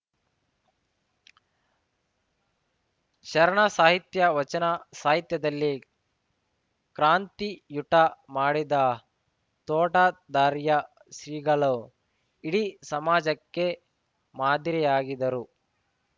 ಶರಣ ಸಾಹಿತ್ಯ ವಚನ ಸಾಹಿತ್ಯದಲ್ಲಿ ಕ್ರಾಂತಿಯುಟ ಮಾಡಿದ್ದ ತೋಟಾದಾರ್ಯ ಶ್ರೀಗಳು ಇಡೀ ಸಮಾಜಕ್ಕೆ ಮಾದರಿಯಾಗಿದ್ದರು